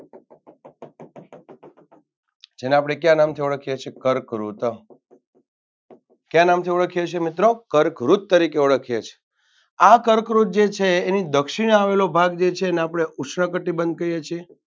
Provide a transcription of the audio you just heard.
જેને આપણે કયા નામથી ઓળખીએ છીએ કર્કવૃ કયા નામથી ઓડખીએ છીએ મિત્રો કર્કવૃત તરીકે ઓળખીએ છીએ આ કર્કવૃત જે છે એની દક્ષિણે આવેલો ભાગ જે છે આપણે ઉષ્ણકટિબંધ કહીએ છીએ.